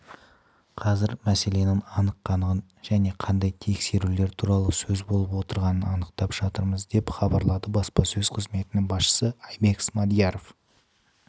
қазір мәселенің анық-қанығын және қандай тексерулер туралы сөз болып отырғанын анықтап жатырмыз деп хабарлады баспасөз қызметінің басшысы айбек смадияров